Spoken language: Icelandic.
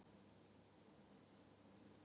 Stigveldið er strokað út, en mismuninum haldið.